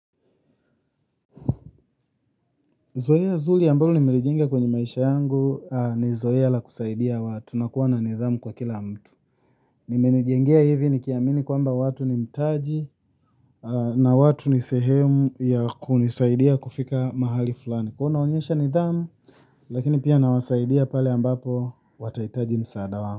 Zoea zuri mbalo nimelijenga kwenye maisha yangu ni zoea la kusaidia watu na kuwa na nidhamu kwa kila mtu. Nimelijenga hivi nikiamini kwamba watu ni mtaji na watu ni sehemu ya kunisaidia kufika mahali fulani. Kwahiyo naonyesha nidhamu lakini pia nawasaidia pale ambapo watahitaji msaada wangu.